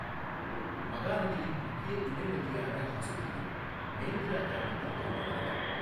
மகாநதியின் முக்கிய துணை நதியான ஹசுதியோ மேந்திரா கிராமத்தில் தோன்றுகிறது.